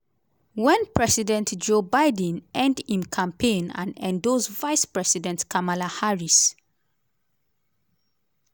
wen president joe biden end im campaign and endorse vice-president kamala harris.